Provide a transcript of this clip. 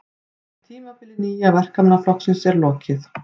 Tímabili Nýja Verkamannaflokksins er lokið